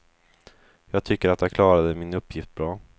Jag tycker att jag klarade min uppgift bra.